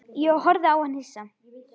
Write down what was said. Ég horfði á hann hissa.